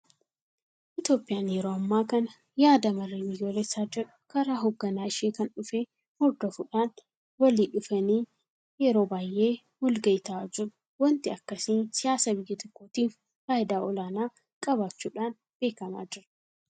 Itoophiyaan yeroo ammaa kana yaada marij biyyoolessaa jedhu karaa hoogganaa ishee kan dhufee hordofuudhaan walli dhufanii yeroo baay'ee walgayii taa'aa jiru. waanti akkasii siiyaasa biyya tokkootiif faayidaa olaanaa qabaachuudhaan beekamaa jira.